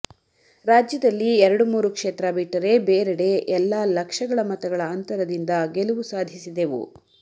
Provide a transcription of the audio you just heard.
ರಾಜ್ಯದಲ್ಲಿ ಎರಡು ಮೂರು ಕ್ಷೇತ್ರ ಬಿಟ್ಟರೆ ಬೇರೆಡೆ ಎಲ್ಲಾ ಲಕ್ಷಗಳ ಮತಗಳ ಅಂತರದಿಂದ ಗೆಲವು ಸಾಧಿಸಿದೆವು